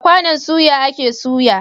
Da kwanon soya a ke soya